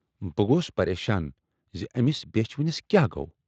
بہٕ گوس پریشان زِ ٲمِس بیچھِ وٕنِس کیاہ گَو؟